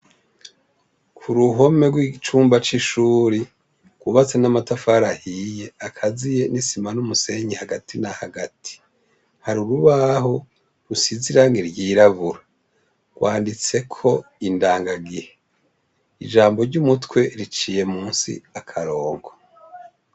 Ku ruhome rw'icumba c'ishuri rwubatse n'amatafari ahiye akaziye n'isima n'umusenyi hagati na hagati hari urubaho rusize irangi ryirabura rwanditseko indanga gihe ijambo ryu mutwe riciye munsi akarongo.